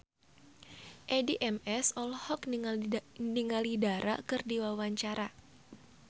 Addie MS olohok ningali Dara keur diwawancara